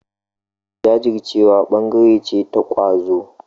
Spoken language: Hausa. Jajircewa ɓangare ce ta ƙwazo.